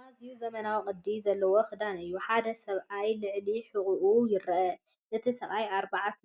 ኣዝዩ ዘመናውን ቅዲ ዘለዎን ክዳን እዩ! ሓደ ሰብኣይ ልዕሊ ሕቝኡ ይርአ። እቲ ሰብኣይ ኣርባዕተ